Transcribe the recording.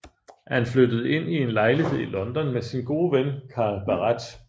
Han flyttede ind i en lejlighed i London med sin gode ven Carl Barât